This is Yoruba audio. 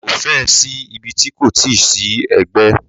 Ko fẹ́ ẹ̀ sí ibi ti kò ti sí ẹgbẹ́.